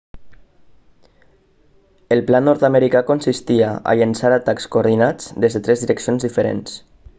el pla nord-americà consistia a llençar atacs coordinats des de tres direccions diferents